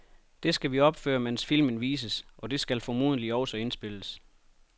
Det skal vi opføre, mens filmen vises, og det skal formodentlig også indspilles.